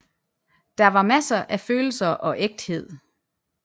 Der var masser af følelser og ægthed